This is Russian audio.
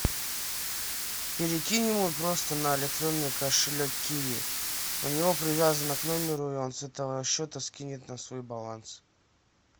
перекинь ему просто на электронный кошелек киви у него привязано к номеру и он с этого счета скинет на свой баланс